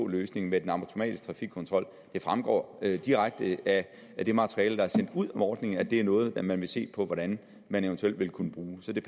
løsning med den automatiske trafikkontrol det fremgår direkte af det materiale der er sendt ud om ordningen at det er noget man vil se på hvordan man eventuelt vil kunne bruge så det